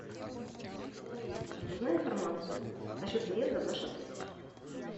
алиса узнай информацию насчет заезда в наш отель